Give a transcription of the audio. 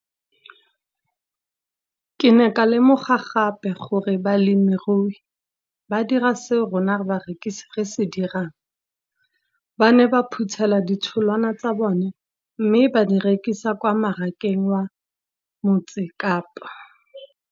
Ke ne ka lemoga gape gore balemirui ba dira seo rona barekisi re se dirang, ba ne ba phuthela ditholwana tsa bona mme ba di rekisa kwa marakeng wa Motsekapa.